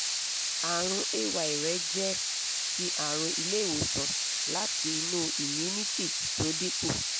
àrùn ay rẹ jẹ́ ti àrùn ilé ìwòsàn láti inú immunity tó dínkù